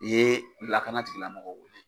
I ye lakana tigila mɔgɔw wele.